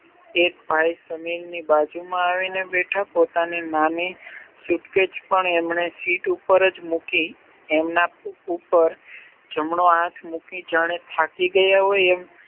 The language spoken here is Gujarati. એક ભાઈ સમીરની બાજુ માં આવી ને બેઠા પોતાની નાની સુટકેશ પણ એમને સીટ ઉપર જ મૂકી એમના ઉપર જમણો હાથ મૂકી જાણે થાકી ગયા હોય એમ